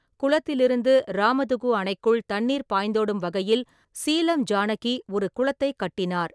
குளத்திலிருந்து ராமதுகு அணைக்குள் தண்ணீர் பாய்ந்தோடும் வகையில் சீலம் ஜானகி ஒரு குளத்தைக் கட்டினார்.